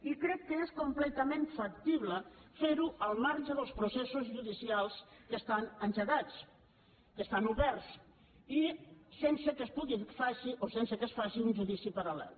i crec que és completament factible fer ho al marge dels processos judicials que estan engegats que estan oberts i sense que es faci un judici paral·lel